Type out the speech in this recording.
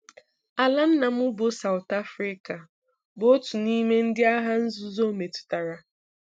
Ala nna m, bụ́ South Africa, bụ otu n’ime ndị Agha Nzuzo metụtara.